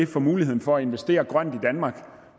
for muligheden for at investere grønt i danmark